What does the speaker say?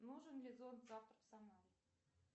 нужен ли зонт завтра в самаре